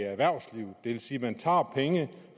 vil sige at man tager penge